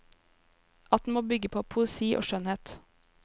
At den må bygge på poesi og skjønnhet.